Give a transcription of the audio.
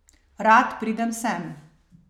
Rad pridem sem.